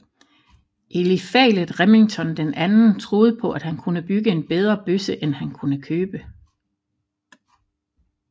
Eliphalet Remington II troede på at han kunne bygge en bedre bøsse end han kunne købe